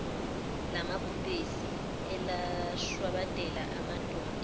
lamabhubesi elashwabadela amadodana